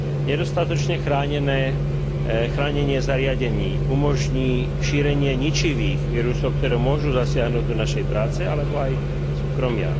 Nedostatočné chránenie zariadení umožní šírenie ničivých vírusov, ktoré môžu zasiahnuť do našej práce alebo aj súkromia.